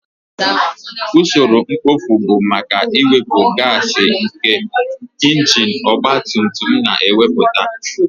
Usoro mkpofu bụ maka iwepu gaasi nke injin ọgba tum tum na-emepụta